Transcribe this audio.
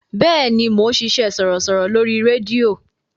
Bẹ́ẹ̀ni, mò ń ṣiṣẹ́ sọ̀rọ̀sọ̀rọ̀ lórí rédíò.